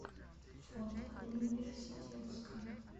фото университетское